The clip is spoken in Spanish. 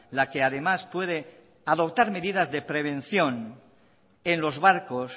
la que además puede adoptar medidas de prevención en los barcos